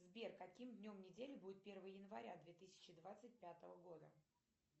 сбер каким днем недели будет первое января две тысячи двадцать пятого года